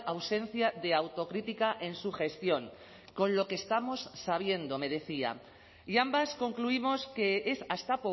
ausencia de autocrítica en su gestión con lo que estamos sabiendo me decía y ambas concluimos que es hasta